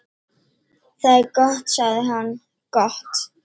"""Það er gott sagði hann, gott"""